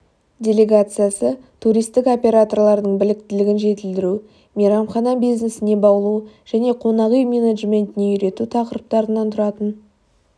делегациясы туристік операторлардың біліктілігін жетілдіру мейрамхана бизнесіне баулу және қонақ үй менеджментіне үйрету тақырыптарынан тұратын